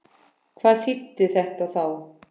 Hvað þýddi þetta þá?